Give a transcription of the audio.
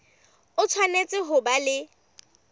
o tshwanetse ho ba le